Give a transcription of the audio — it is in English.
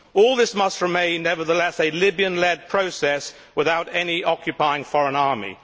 All this must remain nevertheless a Libyan led process without any occupying foreign army.